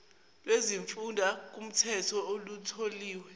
lwezimfunda kukhetho lutholiwe